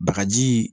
Bagaji